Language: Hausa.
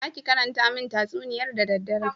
"Zaki karanta min tatsuniyar da dadderen?"